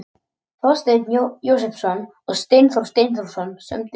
Þorsteinn Jósepsson og Steindór Steindórsson sömdu.